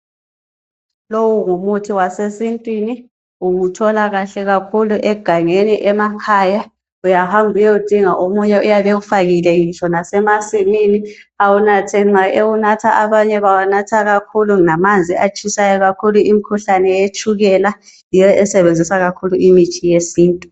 lowu ngumuthi wasesitwini uwuthola kakhle kakhulu egangeni emakhaya uyahamba uyewudinga omunye uyabe ewufakile ngitsho lasemasimini awunathe nxa ewunatha kakhulu lamanzi atshisayo kakhulu imikhuhlane yetshukela yiyo esebenzisa kakhulu imithi yesintu